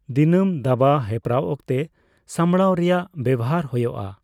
ᱫᱤᱱᱟᱹᱢ ᱫᱟᱵᱟ ᱦᱮᱯᱨᱟᱣ ᱚᱠᱛᱮ ᱥᱟᱸᱵᱽᱲᱟᱣ ᱨᱮᱭᱟᱜ ᱵᱮᱣᱦᱟᱨ ᱦᱳᱭᱳᱜᱼᱟ ᱾